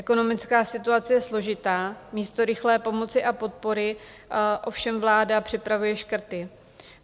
Ekonomická situace je složitá, místo rychlé pomoci a podpory ovšem vláda připravuje škrty.